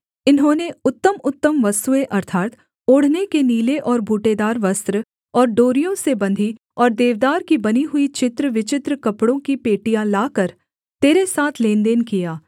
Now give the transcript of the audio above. इन्होंने उत्तमउत्तम वस्तुएँ अर्थात् ओढ़ने के नीले और बूटेदार वस्त्र और डोरियों से बंधी और देवदार की बनी हुई चित्र विचित्र कपड़ों की पेटियाँ लाकर तेरे साथ लेनदेन किया